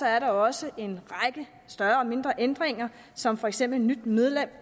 er der også en række større og mindre ændringer som for eksempel et nyt medlem